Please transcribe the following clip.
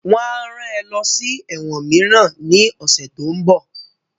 Wọ́n á rán ẹ lọ sí ẹ̀wọ̀n mìíràn ní ọ̀sẹ̀ tó ń bọ̀